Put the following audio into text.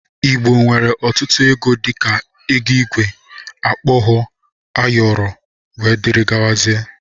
Igbo nwere ọtutu ego dika, ego igwe, okpogho, ayọrọ etc.